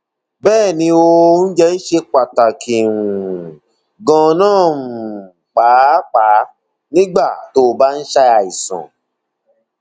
bẹẹ ni o oúnjẹ ṣe pàtàkì um gan- an um pàápàá nígbà tó o bá ń ṣàìsàn